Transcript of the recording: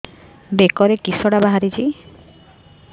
ବେକରେ କିଶଟା ବାହାରିଛି